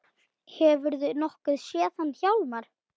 Hefurðu nokkuð séð hann Hjálmar